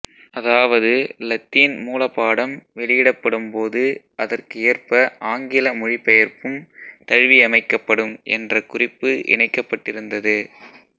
அதாவது இலத்தீன் மூல பாடம் வெளியிடப்படும்போது அதற்கு ஏற்ப ஆங்கில மொழிபெயர்ப்பும் தழுவியமைக்கப்படும் என்ற குறிப்பு இணைக்கப்பட்டிருந்தது